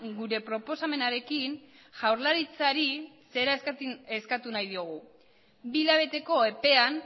gure proposamenarekin jaurlaritzari zera eskatu nahi diogu bi hilabeteko epean